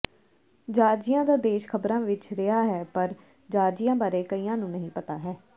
Georgia ਦਾ ਦੇਸ਼ ਖ਼ਬਰਾਂ ਵਿਚ ਰਿਹਾ ਹੈ ਪਰ ਜਾਰਜੀਆ ਬਾਰੇ ਕਈਆਂ ਨੂੰ ਨਹੀਂ ਪਤਾ ਹੈ